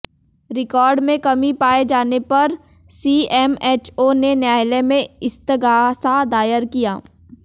record में कमी पाये जाने पर सीएमएचओ ने न्यायालय में इस्तगासा दायर किया